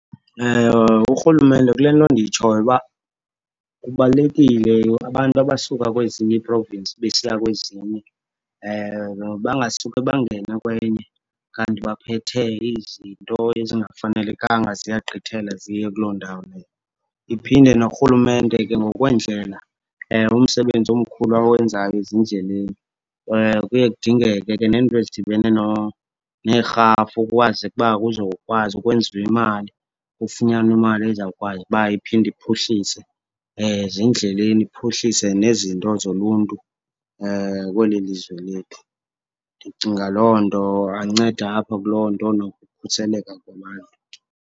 Urhulumente kule nto ndiyitshoyo uba kubalulekile, abantu abasuka kwezinye ii-province besiya kwezinye bangasuke bangene kwenye kanti baphethe izinto ezingafanelekanga, ziyagqithela ziye kuloo ndawo leyo. Iphinde norhulumente ke ngokweendlela, umsebenzi omkhulu awenzayo ezindleleni, kuye kudingeke ke neento ezidibene neerhafu kukwazeke uba kuzokwazi ukwenziwa imali. Kufunyanwe imali ezawukwazi uba iphinde iphuhlise ezindleleni, iphuhlise nezinto zoluntu kweli lizwe lethu. Ndicinga loo nto, ancede apha kuloo nto nokukhuseleka kwabantu.